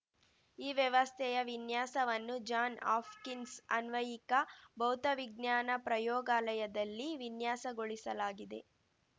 ಈ ವ್ಯವಸ್ಥೆಯ ವಿನ್ಯಾಸವನ್ನು ಜಾನ್‌ ಹಾಫ್ಕಿನ್ಸ್‌ ಆನ್ವಯಿಕ ಭೌತವಿಜ್ಞಾನ ಪ್ರಯೋಗಾಲಯದಲ್ಲಿ ವಿನ್ಯಾಸಗೊಳಿಸಲಾಗಿದೆ